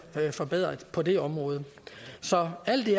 forbedret på det område så alt i